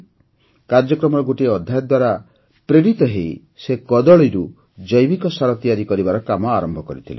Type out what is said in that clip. କାର୍ଯ୍ୟକ୍ରମର ଗୋଟିଏ ଅଧ୍ୟାୟ ଦ୍ୱାରା ପ୍ରେରିତ ହୋଇ ସେ କଦଳୀରୁ ଜୈବିକ ସାର ତିଆରି କରିବାର କାମ ଆରମ୍ଭ କଲେ